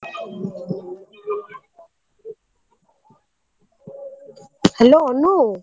Hello Anu.